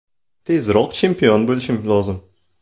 Tezroq chempion bo‘lishim lozim.